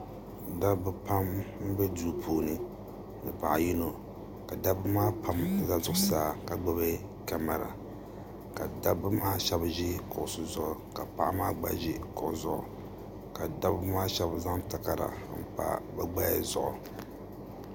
Dabba pa mbɛ duu puuni ni paɣi yino ka dabba maa pam za zuɣusaa ka gbubi kamara ka dabba maa shɛba zi kuɣisi zuɣu ka paɣa maa gba zi kuɣu zuɣu ka dabba maa shɛba zaŋ takarda mpa bi gbaya zuɣu.